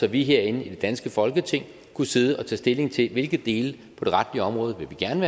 at vi herinde i det danske folketing kunne sidde og tage stilling til hvilke dele på det retlige område vi gerne